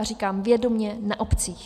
A říkám vědomě - na obcích.